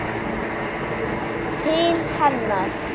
Til hennar.